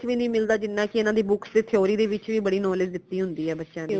ਵੀ ਨਹੀਂ ਮਿਲਦਾ ਜਿਨ੍ਹਾਂ ਕਿ ਇਨਾ ਦੀ books ਤੇ theory ਦੇ ਵਿਚ ਵੀ ਬੜੀ knowledge ਦਿਤੀ ਹੁੰਦੀ ਹੈ ਬੱਚਿਆਂ ਦੀ